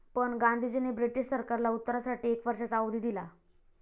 पण गांधीजींनी ब्रिटिश सरकारला उत्तरासाठी एक वर्षाचा अवधी दिला.